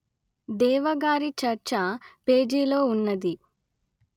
దేవా గారి చర్చ పేజీలో ఉన్నది